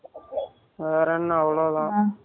வேற என்ன அவ்ளோதான்